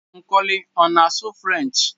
Nkoli ọ na-asụ Firench?